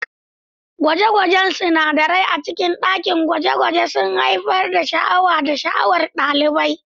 Gwaje-gwajen sinadarai a cikin dakin gwaje-gwaje sun haifar da sha'awa da sha'awar ɗalibai.